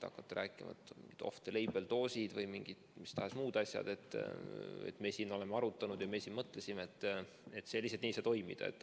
Hakata rääkima, et on off-label-doosid või mis tahes muud asjad, et me siin oleme arutanud ja mõtlesime – see lihtsalt nii ei saa toimuda.